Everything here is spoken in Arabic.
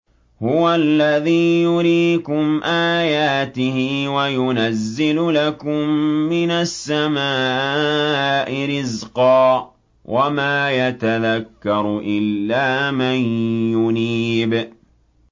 هُوَ الَّذِي يُرِيكُمْ آيَاتِهِ وَيُنَزِّلُ لَكُم مِّنَ السَّمَاءِ رِزْقًا ۚ وَمَا يَتَذَكَّرُ إِلَّا مَن يُنِيبُ